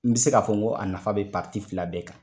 N bɛ se k'a fɔ n ko a nafa bɛ fila bɛɛ kan.